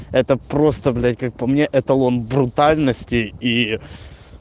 это просто блять как по мне эталон брутальности и